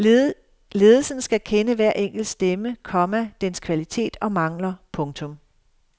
Ledelsen skal kende hver enkelt stemme, komma dens kvalitet og mangler. punktum